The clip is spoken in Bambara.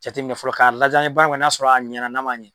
Jateminɛ fɔlɔ k'a lajɛ an ye baara min kɛ n'a sɔrɔ a ɲɛna n'a ma ŋɛ